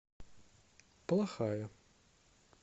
плохая